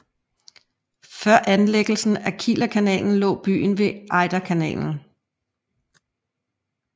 Før anlægelsen af Kielerkanalen lå byen ved Ejderkanalen